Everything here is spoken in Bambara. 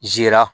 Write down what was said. Zira